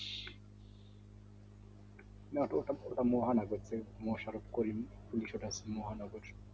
মহা নগর মোশারফ করিম কিন্তু সেটা মহানগর